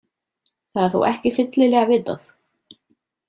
Það er þó ekki fyllilega vitað.